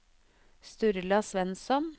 Sturla Svensson